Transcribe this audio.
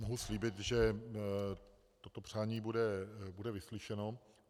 Mohu slíbit, že toto přání bude vyslyšeno.